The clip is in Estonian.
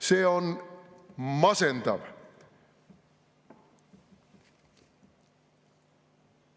See on masendav.